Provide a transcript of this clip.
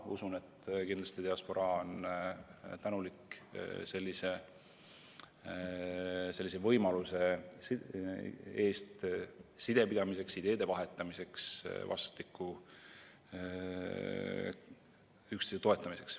Usun, et kindlasti on diasporaa tänulik sellise võimaluse eest sidepidamiseks ja ideede vahetamiseks, vastastikku üksteise toetamiseks.